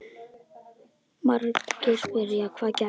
Margir spyrja: Hvað gerðist?